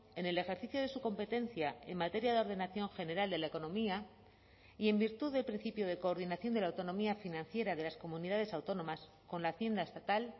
en el ejercicio de su competencia en materia de ordenación general de la economía y en virtud del principio de coordinación de la autonomía financiera de las comunidades autónomas con la hacienda estatal